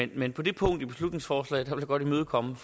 men på det punkt i beslutningsforslaget vil jeg godt imødekomme